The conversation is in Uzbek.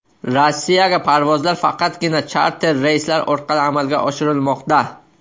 Rossiyaga parvozlar faqatgina charter reyslar orqali amalga oshirilmoqda.